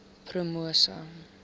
promosa